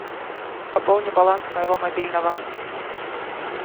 пополни баланс моего мобильного